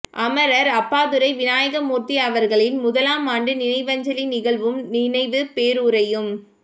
அமரர் அப்பாத்துரை விநாயகமூர்த்தி அவர்களின் முதலாம் ஆண்டு நினைவஞ்சலி நிகழ்வும் நினைவுப் பேருரையும்